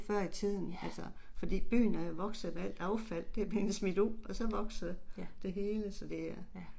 Ja. Ja. Ja